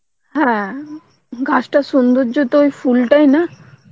হ্যাঁ গাছটার সুন্দর্য তো ওই ফুল টাই না